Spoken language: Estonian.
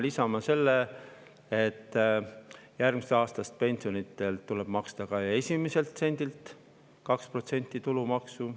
Lisame selle, et järgmisest aastast tuleb maksta ka pensioni esimeselt sendilt 2% tulumaksu.